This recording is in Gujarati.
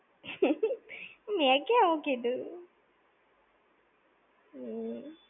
મેં ક્યાં એવું કીધું. હમ્મ.